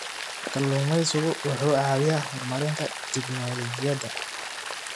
Kalluumeysigu wuxuu caawiyaa horumarinta tignoolajiyada.